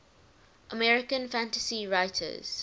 american fantasy writers